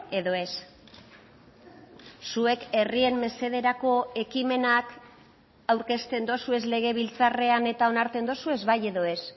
edo ez zuek herrien mesederako ekimenak aurkezten dozuez legebiltzarrean eta onartzen dozuez bai edo ez